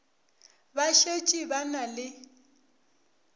ba šetše ba na le